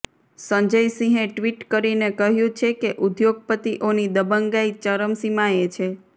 સંજય સિંહે ટ્વિટ કરીને કહ્યુ છે કે ઉદ્યોગપતિઓની દબંગાઈ ચમરસીમાએ છે